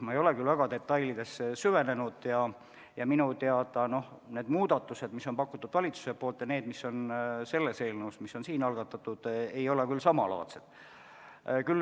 Ma ei ole küll detailidesse süvenenud, aga minu teada need muudatused, mille on pakkunud valitsus, ja need, mis on siin algatatud eelnõus, ei ole samalaadsed.